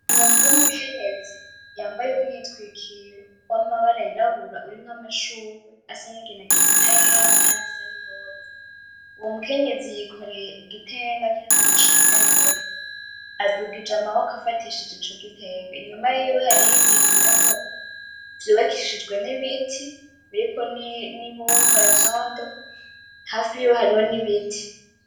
Umuntu w'umukenyezi yambaye umwitwikiro w'amabara yirabura urimwo amashurwe asa n'inginagina, n'ayera, n'ayasa n'iroza. Uwo mukenyezi yikoreye igitenga kirimwo amashaka yera. Adugije amaboko afatishije ico gitenga, inyuma yiwe hariho bintu umengo vyubakishijwe n'ibiti biriko n'ibumba, ivyondo. Hafi yiwe hariho n'ibiti.